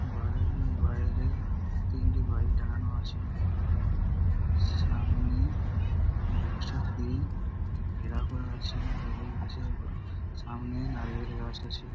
ঘরের বাইরে তিনটি বাইক দাঁড়ানো আছে সামনে এই রাস্তাটিকে ঘেরাও করা আছে রেলিং গাছের ওপর সামনের নারিযয়েল গাছ আছে।